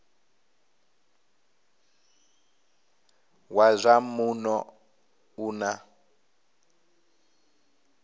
wa zwa muno u na